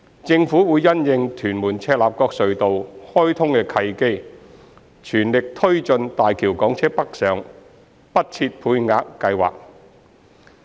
政府會因應"屯門─赤鱲角隧道"開通的契機，全力推進大橋港車北上不設配額計劃。